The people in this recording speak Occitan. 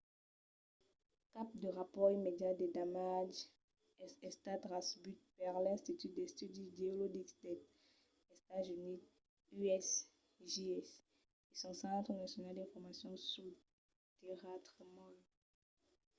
cap de rapòrt immediat de damatges es estat recebut per l'institut d'estudis geologics dels estats-units usgs e son centre nacional d'informacion suls tèrratremols